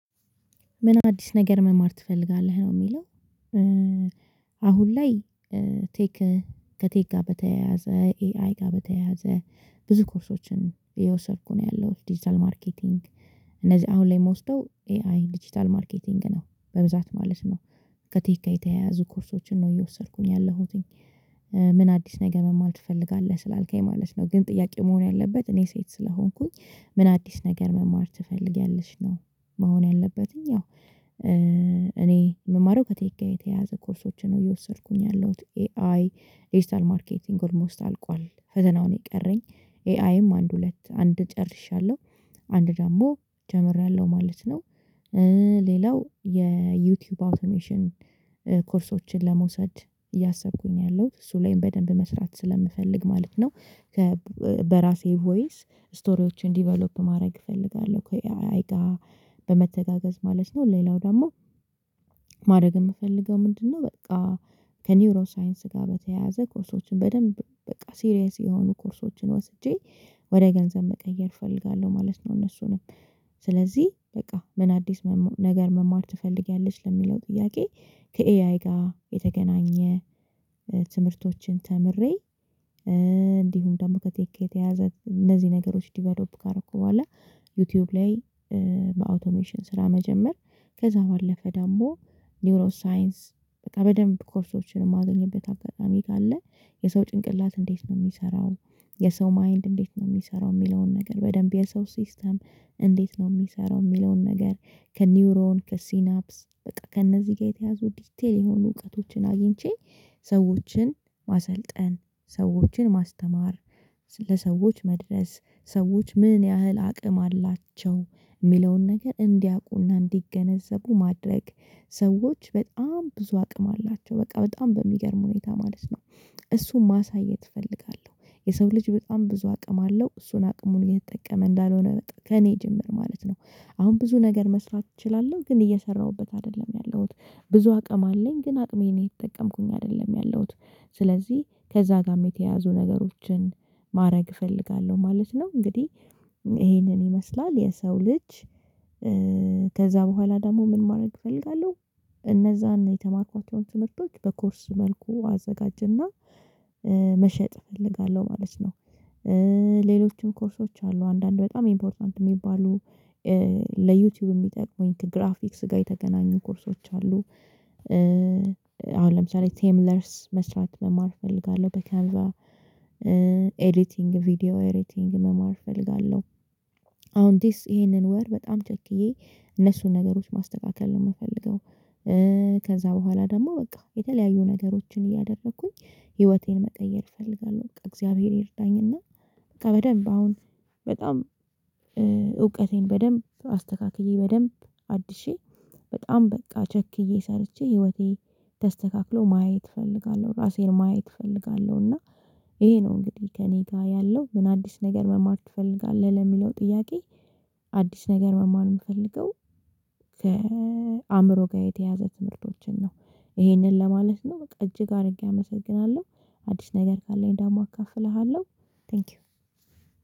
ምን አዲስ ነገር መማር ትፈልጋለህ ነው የሚለው? አሁን ላይ ቴክ ከቴክ ጋር በተያያዘ ኤአይ ጋር በተያያዘ ብዙ ኮርሶችን እየወሰድኩ ነው ያለሁት ዲጂታል ማርኬቲንግ። እነዚህ አሁን ላይ የምወስደው ኤአይ ዲጂታል ማርኬቲንግ ነው በብዛት ማለት ነው ከቴክ የተያያዙ ኮርሶችን ነው እየወሰድኩኝ ያለሁትኝ። ምን አዲስ ነገር መማር ትፈልጋለህ ስላልከኝ ማለት ነው ግን ጥያቄው መሆን ያለበት እኔ ሴት ስለሆንኩኝ ምን አዲስ ነገር መማር ትፈልጊያለሽ ነው? መሆን ያለበት ያው እኔ የምማረው ከቴክ የተያያዘ ኮርሶችን ነው እየወሰድኩኝ ያለሁት። ኤአይ ዲጂታል ማርኬቲንግ ኦልሞስት አልቋል ፈተናውን የቀረኝ ኤአይም አንድ ሁለት አንድ ጨርሻለሁ አንድ ደግሞ ጀምሬያለሁ ማለት ነው። ሌላው የዩቲዩብ አውቶሜሽን ኮርሶችን ለመውሰድ እያሰብኩኝ ያለሁት እሱ ላይም በደንብ መስራት ስለምፈልግ ማለት ነው። ከ በራሴ ቮይስ ስቶሪዎችን ዲቨሎፕ ማድረግ እፈልጋለሁ ከኤአይ ጋር በመተጋገዝ ማለት ነው። ሌላው ደግሞ ማድረግ የምፈልገው ምንድነው? በቃ ከኒውሮ ሳይንስ ጋር በተያያዘ ኮሶችን በደንብ በቃ ሲሪየስ የሆኑ ኮርሶችን ወስጄ ወደ ገንዘብ መቀየር እፈልጋለሁ ማለት ነው። እነሱንም ስለዚህ በቃ ምን አዲስ ነገር መማር ትፈልጊያለች ለሚለው ጥያቄ። ከኤአይ ጋር የተገናኘ ትምህርቶችን ተምሬ እንዲሁም ደግሞ ከቴኬ የተያያዘ እነዚህ ነገሮች ዲቨሎፕ ካረኩ በኋላ። ዩቲዩብ ላይ አውቶሜሽን ስራ መጀመር ከዛ ባለፈ ደግሞ ኒውሮ ሳይንስ በቃ በደንብ ኮርሶችን የማገኝበት አፈጣሚ ካለ የሰው ጭንቅላት እንዴት ነው የሚሰራው? የሰው ማይንድ እንዴት ነው የሚሰራው የሚለውን ነገር በደንብ የሰው ሲስተም እንዴት ነው የሚሰራው የሚለውን ነገር? ከኒውሮን ከሲናፕስ በቃ ከእነዚህ ጋር የተያዙ ዲቴል የሆኑ እውቀቶችን አግኝቼ። ሰዎችን ማሰልጠን ሰዎችን ማስተማር ለሰዎች መድረስ ሰዎች ምን ያህል አቅም አላቸው የሚለውን ነገር እንዲያውቁና እንዲገነዘቡ ማድረግ ሰዎች በጣም ብዙ አቅም አላቸው በቃ በጣም በሚገርም ሁኔታ ማለት ነው። እሱን ማሳየት እፈልጋለሁ የሰው ልጅ በጣም ብዙ አቅም አለው እሱን አቅሙን እየተጠቀመ እንዳልሆነ በጣም ከእኔ ጭምር ማለት ነው። አሁን ብዙ ነገር መስራት እችላለሁ ግን እየሰራሁበት አይደለም ያለሁት። ብዙ አቅም አለኝ ግን አቅሜን እየተጠቀምኩኝ አይደለም ያለሁት። ስለዚህ ከዛ ጋርም የተያያዙ ነገሮችን ማድረግ እፈልጋለሁ ማለት ነው። እንግዲህ ይሄንን ይመስላል የሰው ልጅ። ከዛ በኋላ ደግሞ ምን ማድረግ እፈልጋለሁ? እነዛን የተማርኳቸውን ትምህርቶች በኮርስ መልኩ አዘጋጀና መሸጥ እፈልጋለሁ ማለት ነው። ሌሎችም ኮርሶች አሉ አንዳንድ በጣም ኢምፖርታንት የሚባሉ ለዩቲዩብ የሚጠቅሙኝ ግራፊክስ ጋር የተገናኙ ኮርሶች አሉ። አሁን ለምሳሌ ቴብለርስ መስራት መማር እፈልጋለሁ በካንቫ። ኤዲቲንግ ቪዲዮ ኤዲቲንግ መማር እፈልጋለሁ። አሁን ዲስ ይሄንን ወር በጣም ቸክዬ እነሱን ነገሮች ማስተካከል ነው የምፈልገው። ከዛ በኋላ ደግሞ በቃ የተለያዩ ነገሮችን እያደረኩኝ ህይወቴን መቀየር እፈልጋለሁ። እግዚአብሔር ይርዳኝና በቃ በደንብ አሁን በጣም እውቀቴን በደንብ አስተካክዬ በደንብ አድሼ በጣም በቃ ቸክዬ ሰርቼ ህይወቴ ተስተካክሎ ማየት እፈልጋለሁ። ራሴን ማየት እፈልጋለሁ። እና ይሄ ነው እንግዲህ ከእኔ ጋር ያለው ምን አዲስ ነገር መማር ትፈልጋለህ ለሚለው ጥያቄ። አዲስ ነገር መማር የምፈልገው ከአእምሮ ጋር የተያያዙ ትምህርቶችን ነው። ይሄንን ለማለት ነው በቃ እጅግ አድርጌ አመሰግናለሁ። አዲስ ነገር ካለኝ ደግሞ እካፍልሃለሁ። ታንኪው